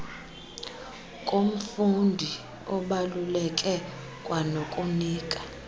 komfundi abaluleke kwanokunika